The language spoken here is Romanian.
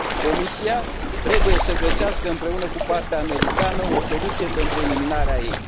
Comisia trebuie să găsească împreună cu partea americană o soluție pentru eliminarea ei.